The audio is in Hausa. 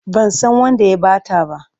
Ban san wanda ya ba ta ba.